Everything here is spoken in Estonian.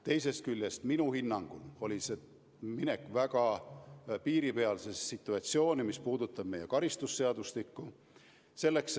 Teisest küljest oli see minu hinnangul minek väga piiripealsesse situatsiooni meie karistusseadustiku seisukohalt.